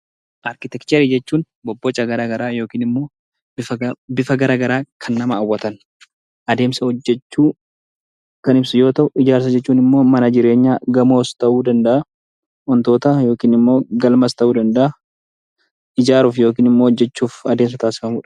Arkiteekcharii jechuun bobboca garaagaraa yookiin immoo bifa garaagaraan kan nama hawwatan adeemsa hojjachuu kan ibsu yoo ta'u, ijaarsa jechuun ammoo mana jireenyaa gamoos ta'uu danda'a. Wantoota yookiin immoo galmas ta'uu danda'a. Ijaaruuf yookiin hojjachuuf adeemsa taasifamudha.